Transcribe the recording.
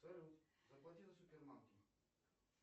салют заплати за супермаркет